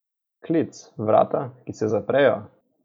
Klic, vrata, ki se zaprejo.